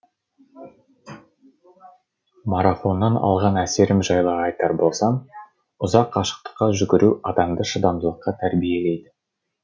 марафоннан алған әсерім жайлы айтар болсам ұзақ қашықтыққа жүгіру адамды шыдамдылыққа тәрбиелейді